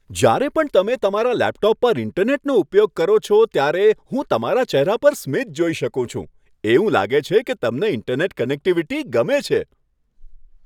જ્યારે પણ તમે તમારા લેપટોપ પર ઇન્ટરનેટનો ઉપયોગ કરો છો ત્યારે હું તમારા ચહેરા પર સ્મિત જોઈ શકું છું. એવું લાગે છે કે તમને ઇન્ટરનેટ કનેક્ટિવિટી ગમે છે!